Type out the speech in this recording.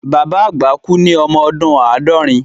Bàbá àgbà kú ní ọmọ ọdún àádọ́rin